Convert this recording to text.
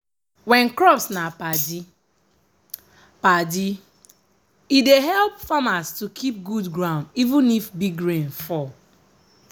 when crops na padi-padi e dey help farmers to keep good ground even if big rain fall.